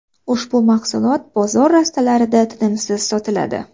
Ushbu mahsulot bozor rastalarida tinimsiz sotiladi.